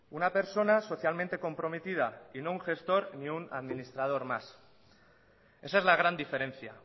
una persona socialmente comprometida y no un gestor ni un administrador más esa es la gran diferencia